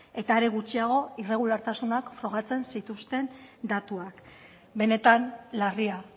eta are gutxiago irregulartasunak frogatzen zituzten datuak benetan larria